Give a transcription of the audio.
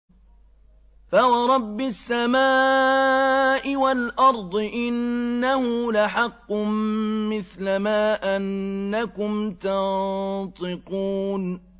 فَوَرَبِّ السَّمَاءِ وَالْأَرْضِ إِنَّهُ لَحَقٌّ مِّثْلَ مَا أَنَّكُمْ تَنطِقُونَ